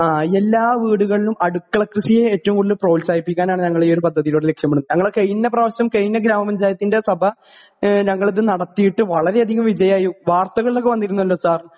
ആഹ് എല്ലാ വീടുകളിലും അടുക്കള കൃഷിയെ പ്രോത്സാഹിപ്പിക്കാനാണ് ഞങ്ങൾ ഈയൊരു പദ്ധതിയിലൂടെ ലക്ഷ്യമിടുന്നത് . ഞങ്ങൾ കഴിഞ്ഞ പ്രാവശ്യം കഴിഞ്ഞ ഗ്രാമാഞ്ചായത്തിന്റെ സഭ ഞങ്ങൾ നടത്തിയിട്ടു വളരെയധികം വിജയം ആയിരുന്നു വർത്തകളിലൊക്കെ വന്നിരുന്നല്ലോ സർ .